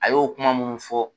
A y'o kuma minnu fɔ